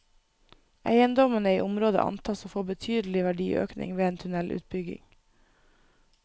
Eiendommene i området antas å få betydelig verdiøkning ved en tunnelutbygging.